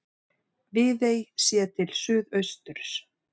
Viðey séð til suðausturs.